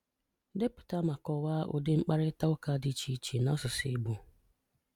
Depụta ma kọwaa ụdi mkparịtaụka dị iche iche n’asụsụ Igbo.